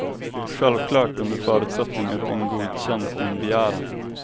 Självklart under förutsättning att den godkänt din begäran.